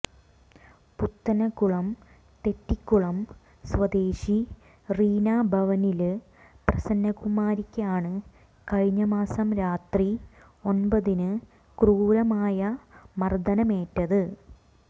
പുത്തന്കുളം തെറ്റിക്കുളം സ്വദേശി റീനാ ഭവനില് പ്രസന്നകുമാരിക്കാണ് കഴിഞ്ഞ മാസം രാത്രി ഒന്പതിന് ക്രൂരമായ മര്ദനമേറ്റത്